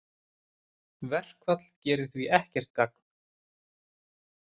Verkfall gerir því ekkert gagn